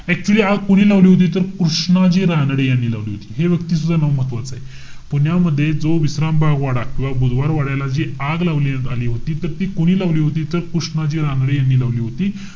Actually आग कोणी लावली होती? तर कृष्णाजी रानडे यांनी लावली होती. हे व्यक्तीच सुद्धा नाव महत्वाचा आहे. पुण्यामध्ये जो विश्राम बाग वाडा किंवा बुधवार वाड्याला जी आग लावण्यात आली होती. त ती कोणी लावली होती? त कृष्णाजी रानडे यांनी लावली होती.